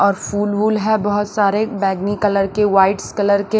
और फूल वूल है बहुत सारे बैगनी कलर के वाइट्स कलर के--